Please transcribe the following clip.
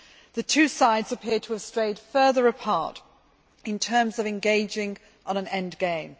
The two sides appear to have strayed further apart, in terms of engaging on an end game.